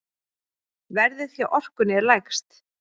Verðið hjá Orkunni er lægst.